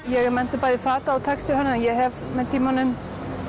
ég er menntuð bæði fata og textílhönnuður en ég hef með tímanum